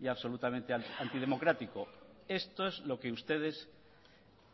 y absolutamente antidemocrático esto es lo que ustedes